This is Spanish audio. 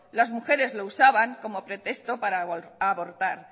las mujeres lo usaban como pretexto para abortar